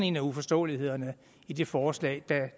en af uforståelighederne i det forslag